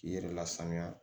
K'i yɛrɛ lasaniya